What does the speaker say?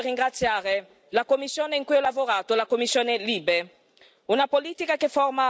E quindi con questo intendo ringraziare la commissione in cui ho lavorato, la commissione LIBE.